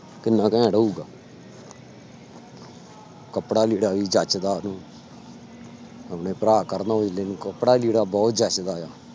ਕਿੰਨਾ ਘੈਂਟ ਹੋਊਗਾ ਕੱਪੜਾ ਲੀੜਾ ਵੀ ਜੱਚਦਾ ਉਹਨੂੰ ਆਪਣੇ ਭਰਾ ਕਰਨ ਔਜਲੇ ਨੂੰ ਕੱਪੜਾ ਲੀੜਾ ਬਹੁਤ ਜੱਚਦਾ ਆ।